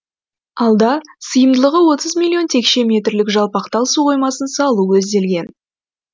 алда сыйымдылығы отыз миллион текше метрлік жалпақтал су қоймасын салу көзделген